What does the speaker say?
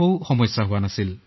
তেওঁৰ পৰীক্ষা চলি আছিল